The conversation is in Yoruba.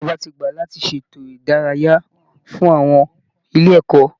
Ìjọba ti gbà láti ṣe ètò ìdárayá fún àwọn ilé ẹ̀kọ́